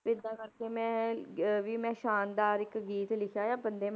ਵੀ ਏਦਾਂ ਕਰਕੇ ਮੈਂ ਅਹ ਵੀ ਮੈਂ ਸ਼ਾਨਦਾਰ ਇੱਕ ਗੀਤ ਲਿਖਿਆ ਆ ਬੰਦੇ ਮਾ~